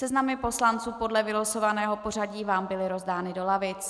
Seznamy poslanců podle vylosovaného pořadí vám byly rozdány do lavic.